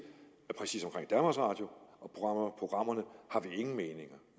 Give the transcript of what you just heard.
præcis omkring danmarks radio og programmerne